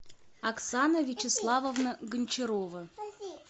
оксана вячеславовна гончарова